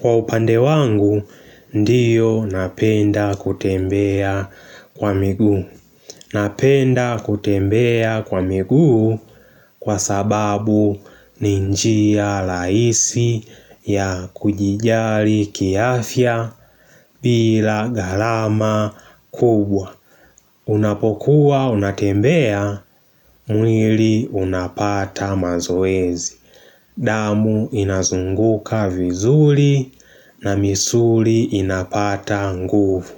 Kwa upande wangu, ndiyo napenda kutembea kwa miguu Napenda kutembea kwa miguu kwa sababu ni njia raihisi ya kujijali kiafya bila gharama kubwa Unapokuwa, unatembea, mwili unapata mazoezi damu inazunguka vizuri na misuli inapata nguvu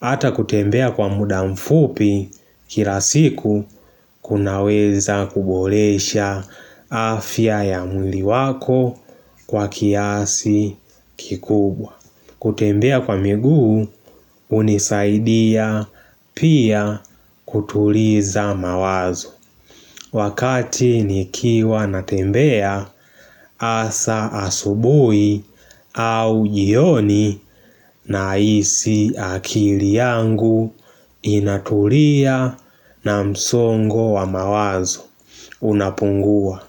hata kutembea kwa muda mfupi kila siku kunaweza kuboresha afya ya mwili wako kwa kiasi kikubwa kutembea kwa miguu unisaidia pia kutuliza mawazo Wakati nikiwa natembea hasa asubuhi au jioni nahisi akili yangu inatulia na msongo wa mawazo unapungua.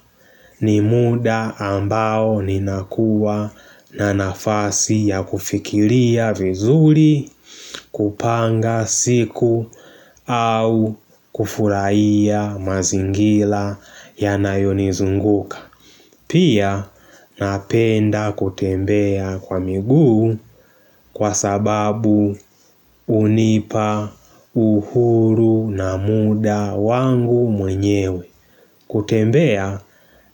Ni muda ambao ninakuwa na nafasi ya kufikiria vizuri, kupanga siku au kufurahia mazingira yanayonizunguka. Pia napenda kutembea kwa miguu kwa sababu hunipa uhuru na muda wangu mwenyewe. Kutembea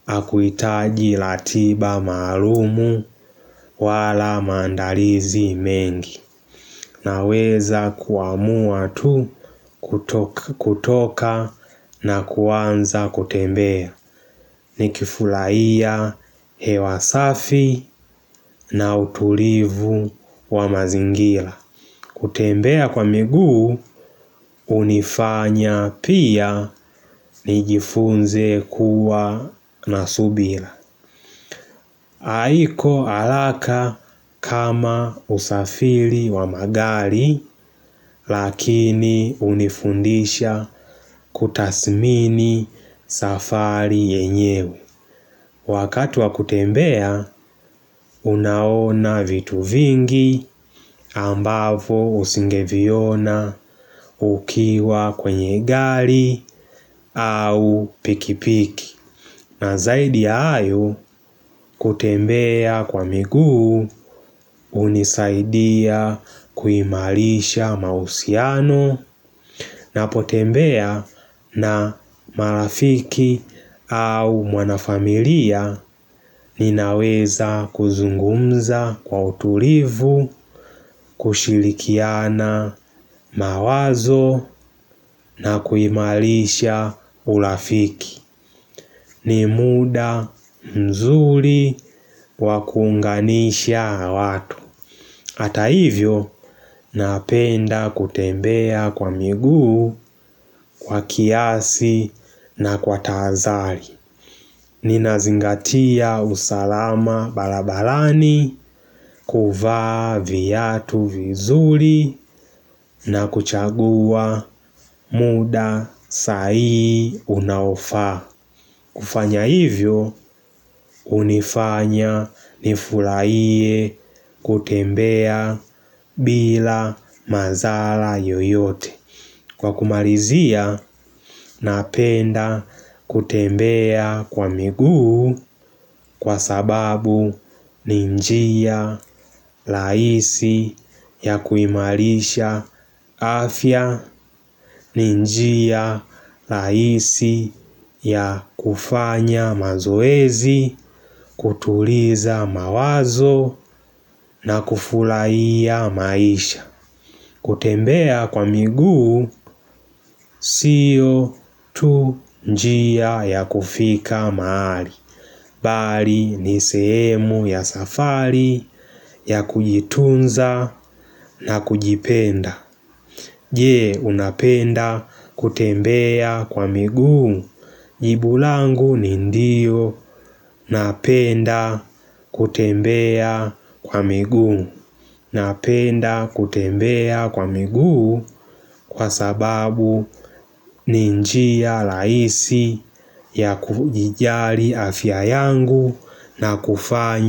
hakuhitaji ratiba maalumu wala maandalizi mengi Naweza kuamua tu kutoka na kuanza kutembea Nikifurahia hewa safi na utulivu wa mazingira kutembea kwa miguu hunifanya pia nijifunze kuwa na subira haiko haraka kama usafiri wa magari lakini hunifundisha kutasmini safari yenyewe. Wakati wa kutembea unaona vitu vingi ambavyo usingeviona ukiwa kwenye gari au pikipiki. Na zaidi ya hayo kutembea kwa miguu hunisaidia kuimarisha mahusiano Ninapotembea na marafiki au mwanafamilia ninaweza kuzungumza kwa utulivu kushirikiana mawazo na kuimarisha urafiki ni muda mzuri wa kuunganisha na watu Hata hivyo napenda kutembea kwa miguu, kwa kiasi na kwa taazari ninazingatia usalama barabarani kuvaa viatu vizuri na kuchagua muda sai unaofaa kufanya hivyo hunifanya nifurahie kutembea bila mazala yoyote Kwa kumalizia napenda kutembea kwa miguu kwa sababu ni njia rahisi ya kuimarisha afya ni njia rahisi ya kufanya mazoezi, kutuliza mawazo na kufurahia maisha kutembea kwa miguu sio tu njia ya kufika mahali Bali ni sehemu ya safari ya kujitunza na kujipenda Je unapenda kutembea kwa miguu jibu langu ni ndio napenda kutembea kwa miguu napenda kutembea kwa miguu kwa sababu ni njia rahisi ya kujijali afya yangu na kufanya.